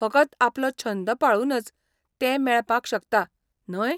फकत आपलो छंद पाळूनच तें मेळपाक शकता, न्हय?